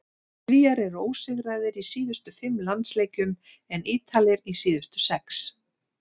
Svíar eru ósigraðir í síðustu fimm landsleikjum en Ítalir í síðustu sex.